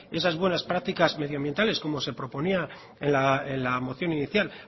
esas buenas prácticas medioambientales como se proponía en la moción inicial